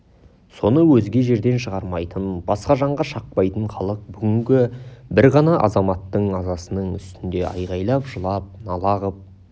соны өзге жерде шығармайтын басқа жанға шақпайтын халық бүгінгі бір ғана азаматтың азасының үстінде айғайлап жылап нала қып